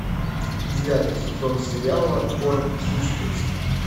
девятый сезон сериала город хищниц